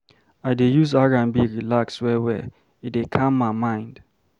I dey use R&B relax well-well, e dey calm my mind.